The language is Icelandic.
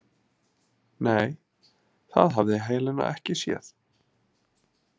Nei, það hafði Helena ekki séð.